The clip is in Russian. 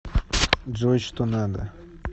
джой что надо